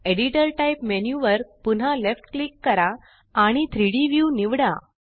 editor typeमेन्यु वर पुन्हा लेफ्ट क्लिक करा आणि 3Dव्यू निवडा